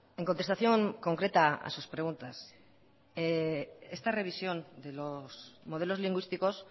en contestación concreta a sus preguntas esta revisión de los modelos lingüísticos